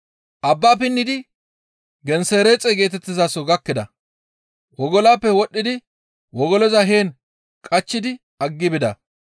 Abbaa pinnidi Gensereexe geetettizaso gakkida; wogolaappe wodhdhidi wogoloza heen qachchidi aggi bida.